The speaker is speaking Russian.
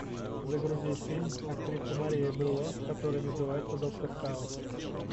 загрузи фильм актриса мария белло который называется доктор хаус